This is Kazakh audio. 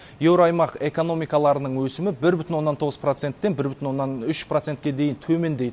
еуроаймақ экономикаларының өсімі бір бүтін оннан тоғыз проценттен бір бүтін оннан үш процентке дейін төмендейді